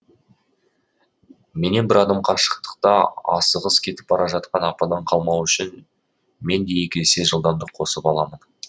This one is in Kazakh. мен бір адам бір мен бір адым қашықтықта асығыс кетіп бара жатқан ападан қалмау үшін мен де екі есе жылдамдық қосып аламын